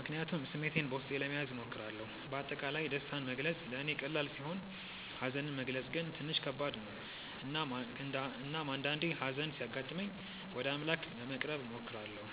ምክንያቱም ስሜቴን በውስጤ ለመያዝ እሞክራለሁ። በአጠቃላይ ደስታን መግለጽ ለእኔ ቀላል ሲሆን ሀዘንን መግለጽ ግን ትንሽ ከባድ ነው። እናም አንዳአንዴ ሀዘን ሲያጋጥመኝ ወደ አምላክ ለመቅረብ እሞክራለሁ።